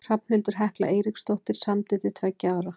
Hrafnhildur Hekla Eiríksdóttir samdi til tveggja ára.